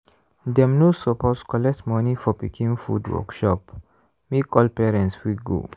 dem no suppose collect money for pikin food workshop make all parents fit go.